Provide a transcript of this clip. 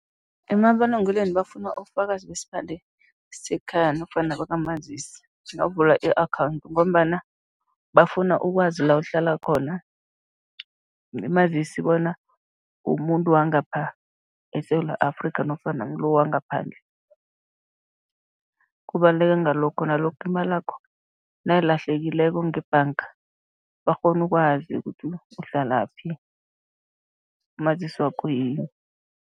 Emabulungelweni bafuna ubufakazi besiphande sekhaya nofana bakamazisi, nawuvula i-akhawundi ngombana bafuna ukwazi la uhlala khona, mazisi bona umuntu wangapha eSewula Afrika nofana ngilo wangaphandle, kubaluleke ngalokho, nalokha imalakho nayilahlekileko ngebhanga, bakghone ukwazi ukuthi uhlalaphi, umazisi wakho yini.